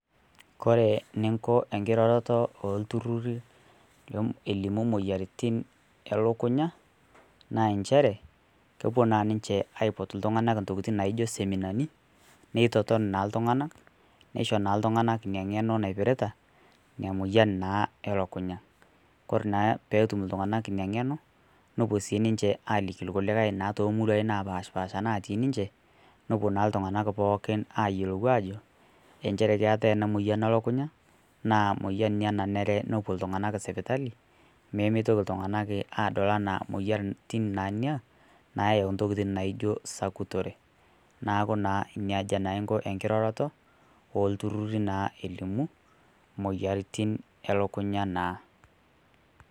Kore ninko enkirorotoo enturururii elimuu moyaritin elokunyaa naa ensheree kopuo naa ninshe aipot ltung'anak ntokitin naijo seminanii neitoton naa ltung'anaa neisho naa ltung'anaa inia ng'enoo naipiritaa inia moyan naa elakunyaa. Kore naa peetum ltung'anak inia ng'enoo nopuo sii ninshe alikii lkulikai naa temuruai napashpaasha natii ninshee nopuo naa ltung'anak pookin ayelou ajoo enshere keatai anaa oyan elakunyaa naa moyan inia naneree nopuo ltung'anak sipitalii nemeitoki ltung'anak adol anaa moyanitin nenia nayau ntokitin naijoo sakutoree naaku naa nejia inko nkiroroto eltururirii naa elimuu moyaritin elokunyaa naa.